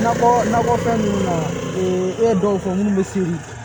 Nakɔ nakɔfɛn ninnu na e ye dɔw fɔ mun bɛ se